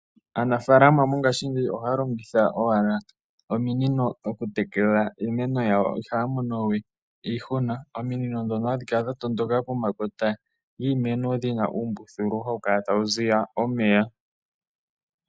Aanafalama mongashingeyi ohaya longitha owala ominino oku tekela iimeno yawo, ihaya monowe iihuna ominino dhono hadhi kala dha tondoka pomakota giimeno dhina uumbuthulu hawu kala tawu ziya omeya.